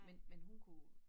Men men hun kunne